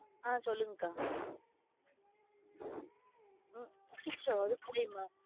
ஆஹ் சொல்லுங்கா. அச்சச்சோ அதுக்குள்ளயுமா